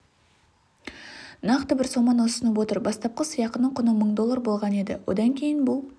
нақты бір соманы ұсынып отыр бастапқы сыйақының құны мың доллар болған еді одан кейін бұл